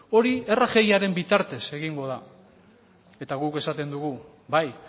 hori rgiaren bitartez egingo da eta guk esaten dugu bai